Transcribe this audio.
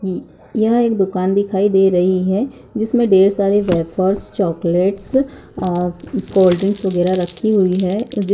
य यह एक दुकान दिखाई दे रही है जिसमें डेर सारे वैफर्स चॉकलेट्स ओ कोल्ड ड्रिंक्स वगेरा रखी हुई है।